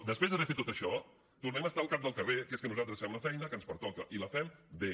després d’haver fet tot això tornem a estar al cap del carrer que és que nosaltres fem la feina que ens pertoca i la fem bé